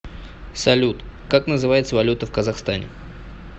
салют как называется валюта в казахстане